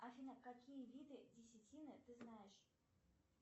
афина какие виды десятины ты знаешь